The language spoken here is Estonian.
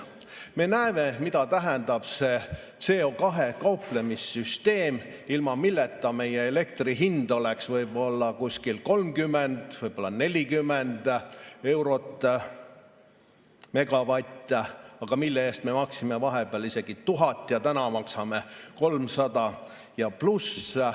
Me näeme, mida tähendab see CO2‑ga kauplemise süsteem, ilma milleta meie elektri hind oleks võib-olla kuskil 30 või 40 eurot megavatt, aga mille eest me maksime vahepeal isegi 1000 ja täna maksame 300+.